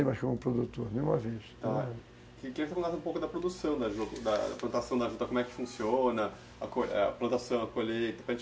Eu queria que você falasse um pouco da produção da plantação da juta, como é que funciona, a plantação, a colheita,